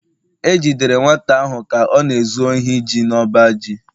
E jidere nwata ahụ ka ọ na-ezu ohi ji n’ọba ji